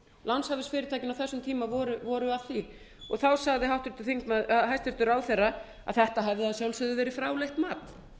lánshæfisfyrirtækin á þessum tíma voru að því sagði hæstvirtur ráðherra að þetta hefði að sjálfsögðu verið fráleitt mat